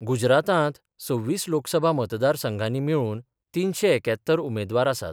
गुजरातांत सव्वीस लोकसभा मतदार संघानी मेळुन तिनशे एक्यात्तर उमेदवार आसात.